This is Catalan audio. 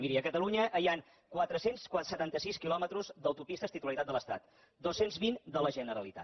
miri a catalunya hi han quatre cents i setanta sis quilòmetres d’autopistes titularitat de l’estat dos cents i vint de la generalitat